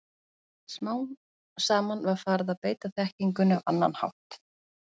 Smám saman var farið að beita þekkingunni á annan hátt.